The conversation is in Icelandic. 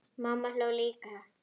Mamma hló líka.